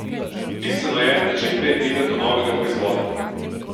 Bistveno je, da čim prej pridem do novega proizvoda.